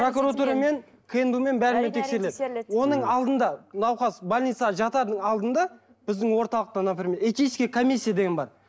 прокуратурамен кнб мен бәрімен тексеріледі оның алдында науқас больницаға жатардың алдында біздің орталықта например этический комиссия деген бар